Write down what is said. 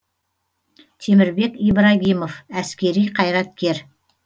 темірбек ибрагимов әскери қайраткер